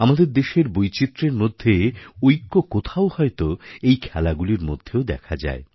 আমাদের দেশের বৈচিত্র্যের মধ্যে ঐক্য কোথাও হয়ত এই খেলাগুলির মধ্যেও দেখা যায়